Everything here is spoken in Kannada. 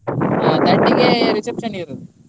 ಆ thirty ಗೆ reception ಇರುದು.